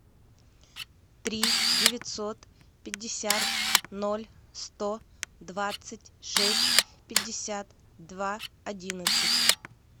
три девятьсот пятьдесят ноль сто двадцать шесть пятьдесят два одиннадцать